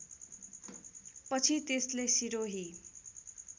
पछि त्यसले सिरोही